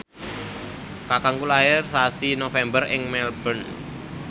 kakangku lair sasi November ing Melbourne